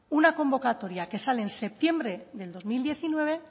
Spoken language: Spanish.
una convocatoria que sale en septiembre del dos mil diecinueve en